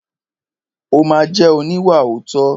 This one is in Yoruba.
Ó ma jẹ́ oníwàòótọ́.